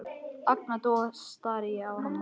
Agndofa stari ég á hana.